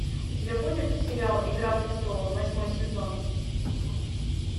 у тебя будет сериал игра престолов восьмой сезон